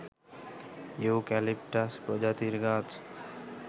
eucalyptus প্রজাতির গাছ